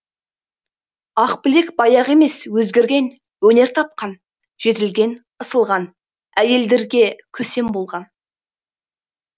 ақбілек баяғы емес өзгерген өнер тапқан жетілген ысылған әйелдерге көсем болған